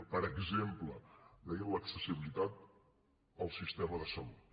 per exemple deien l’accessibilitat al sistema de salut